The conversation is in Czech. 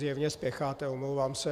Zjevně spěcháte, omlouvám se.